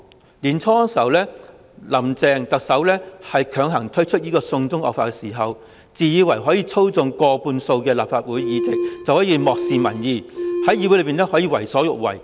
今年年初，"林鄭"特首強行推出"送中惡法"時，自以為可以操縱過半數的立法會議席，可以因而漠視民意，在議會內為所欲為。